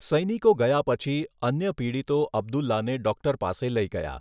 સૈનિકો ગયા પછી, અન્ય પીડિતો અબ્દુલ્લાને ડૉક્ટર પાસે લઈ ગયા.